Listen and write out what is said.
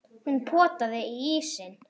Hún potaði í ísinn.